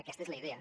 aquesta és la idea